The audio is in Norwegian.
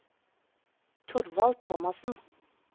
Thorvald Thomassen